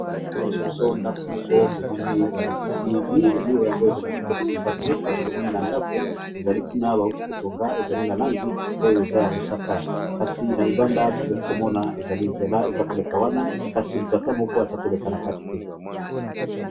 Bazali kosalakisa bizo ndako tomoni balakisi murs , murs yango ezali kitoko mpenza te, kasi tomoni na ndako ezali kuna bawuti kotonga ezali na langi oyo eza ya mosaka, kasi na libanda tozali komona ezali nzela eza koleka wana kasi mutu ata moko aza koleka na kati te.